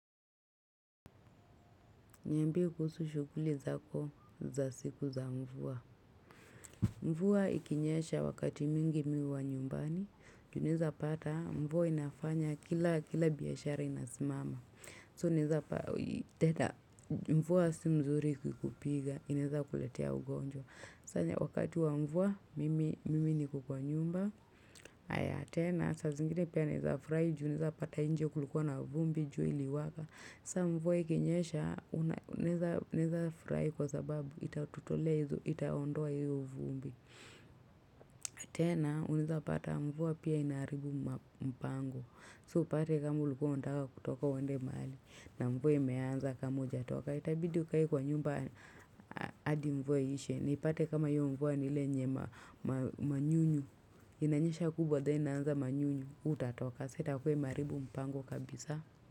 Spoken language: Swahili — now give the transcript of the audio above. Niambie kuhusu shughuli zako za siku za mvua. Mvua ikinyesha wakati mingi mi huwa nyumbani. Ju unaeza pata mvua inafanya kila biashara inasmama. So naeza pa teda mvua si mzuri kukupiga. Inaeza kuletea ugonjwa. Sanya wakati wa mvua mimi niko kwa nyumba. Aya tena sa zingine pia naeza frai Ju unaeza pata inje kulikuwa na vumbi jua iliwaka. Sa mvua ikinyesha, unaeza furai kwa sababu, itatutolea hizo itaondoa hiyo uvumbi. Tena, unaeza pata mvua pia inaharibu mpango. So, upate kama ulikuwa undaka kutoka uende mahali, na mvua imeanza kama ujatoka. Itabidi ukae kwa nyumba adi mvua iishe. Nipate kama hiyo mvua ni ile yenye manyunyu, inanyesha kubwa, then inaanza manyunyu, hutatoka. Sa itakuwa imeharibu mpango kabisa.